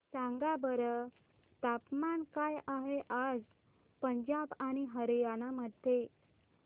सांगा बरं तापमान काय आहे आज पंजाब आणि हरयाणा मध्ये